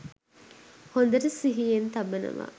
හොඳට සිිහියෙන් තබනවා.